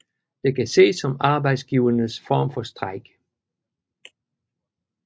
Det kan ses som arbejdsgivernes form for strejke